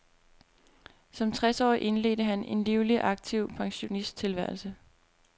Som tres årig indledte han en livlig og aktiv pensionisttilværelse.